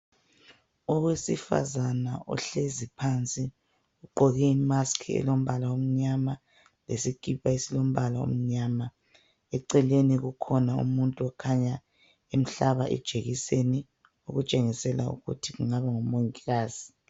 Owesifazana ohlezi phansi ugqoke imask elombala omnyama lesikipa esilombala omnyama, eceleni kukhona umuntu okhanya emhlaba ijekiseni okutshengisela ukuthi kungaba ngumongikazi.